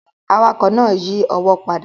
Awakọ̀ náà yí ọwọ́ padà